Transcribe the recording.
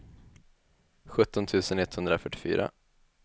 sjutton tusen etthundrafyrtiofyra